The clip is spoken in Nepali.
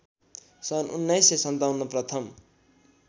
सन् १९५७ प्रथम